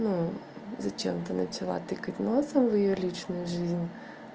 ну зачем ты начала тыкать носом в её личную жизнь